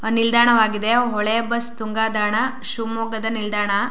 ನಿಲ್ದಾಣವಾಗಿದೆ ಹೊಳೆ ಬಸ್ ತುಂಗಾದಾಣ ಶಿಮೊಗ್ಗದ ನಿಲ್ದಾಣ.